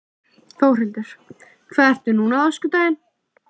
Þórhildur: Hvað ert þú núna á öskudaginn?